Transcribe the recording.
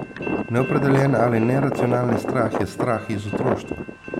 Neopredeljen ali neracionalni strah je strah iz otroštva.